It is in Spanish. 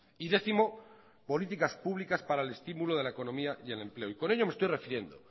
y décimo políticas públicas para el estímulo de la economía y el empleo y con ello me estoy refiriendo